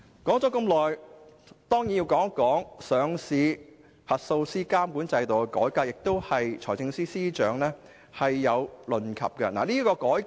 我接着還要談談上市實體核數師監管制度的改革，財政司司長也曾提及這項改革。